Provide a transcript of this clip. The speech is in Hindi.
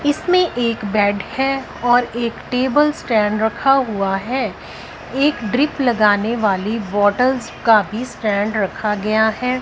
इसमें एक बेड है और एक टेबल स्टैंड रखा हुआ है एक ड्रिप लगाने वाली बोटल्स का भी स्टैंड रखा गया है।